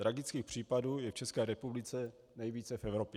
Tragických případů je v České republice nejvíce v Evropě.